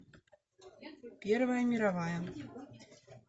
первая мировая